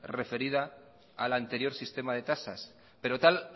referida al anterior sistema de tasas pero tal